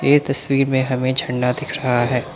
ये तस्वीर में हमें झरना दिख रहा है।